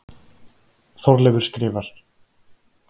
Þorleifur skrifar: